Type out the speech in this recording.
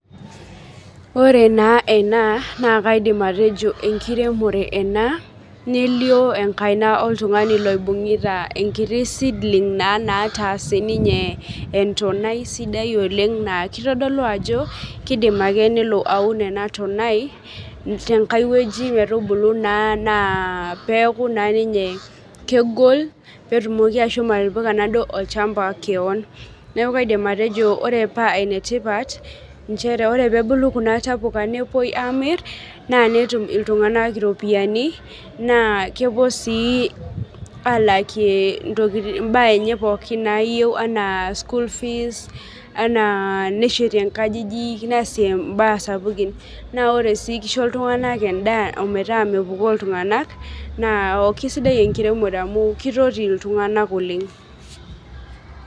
Ore na ena na kaidim atejo enkiremore ena nelio enkaina oltungani oibunguta seedlings [cs[ metaa ta sininye entonai sidai oleng na kitodolu ajo kidim ake nelo aun enatonai tenkae wueji metubulu neaku na ninye kegol netumoki ninye ashomo atipika olchamba enkare neaku kaidim atejo ore pa enetipat nchere ore pebulu kunatapuka nepuoi amir na netum ltunganak ropiyani nakepuo si alakie mbaa enye pookin anaa school fees neshetie nkajijik neasie mbaa sapukin na ore si kisho ltunganak endaa metaa mepukoo na kesidai enkiremore amu kisaidia ltunganak oleng.